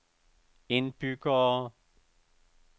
indbyggere